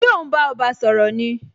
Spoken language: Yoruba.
Ṣé o n bá ọba sọ̀rọ̀ ni?